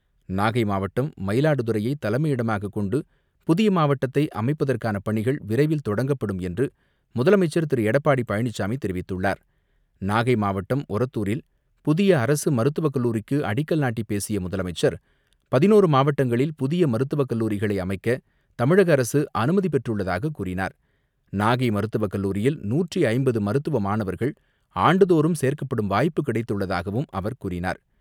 நாகை மாவட்டம், மயிலாடுதுறையை தலைமையிடமாக கொண்டு புதிய மாவட்டத்தை அமைப்பதற்கான பணிகள் விரைவில் தொடங்கப்படும் என்று முதலமைச்சர் திரு. எடப்பாடி பழனிச்சாமி தெரிவித்துள்ளார். நாகை மாவட்டம், ஓரத்தூரில் புதிய அரசு மருத்துவக்கல்லூரிக்கு அடிக்கல் நாட்டி பேசிய முதலமைச்சர், 11 மாவட்டங்களில் புதிய மருத்துவக் கல்லூரிகளை அமைக்க தமிழக அரசு அனுமதி பெற்றுள்ளதாக கூறினார். நாகை மருத்துவக் கல்லூரியில் நூற்று ஐம்பது மருத்துவ மாணவர்கள் ஆண்டு தோறும் சேர்க்கப்படும் வாய்ப்பு கிடைத்துள்ளதாகவும் அவர் கூறினார்.